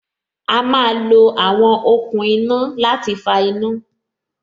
A má lo àwọn okùn iná láti fa iná